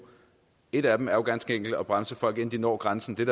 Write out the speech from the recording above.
et af dem er jo ganske enkelt at bremse folk inden de når grænsen det